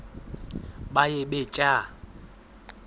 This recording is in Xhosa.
baye bee tyaa